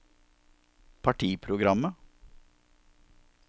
partiprogrammet